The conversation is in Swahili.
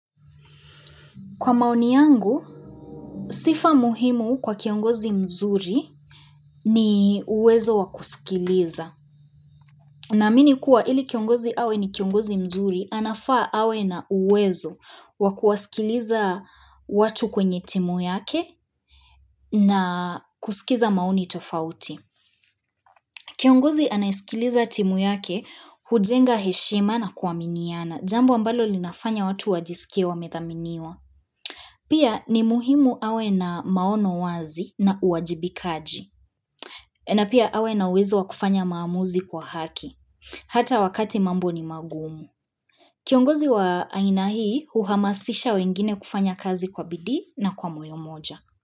Kwa maoni yangu, sifa muhimu kwa kiongozi mzuri ni uwezo wakusikiliza. Na mini kuwa ili kiongozi hawe ni kiongozi mzuri, anafaa hawe na uwezo wakusikiliza watu kwenye timu yake na kusikiza maoni tofauti. Kiongozi anayesikiliza timu yake, hujenga heshima na kuaminiana, jambo ambalo linafanya watu wajisikia wa methaminiwa. Pia ni muhimu hawe na maono wazi na uwajibikaji, na pia hawe na uwezo wa kufanya maamuzi kwa haki, hata wakati mambo ni magumu. Kiongozi wa aina hii, uhamasisha wengine kufanya kazi kwa bidi na kwa moyo moja.